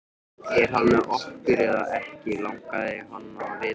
Er hann með okkur eða ekki? langaði hann að vita.